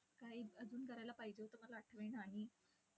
काही अजून करायला पाहिजे होतं, मला आठवे नाही.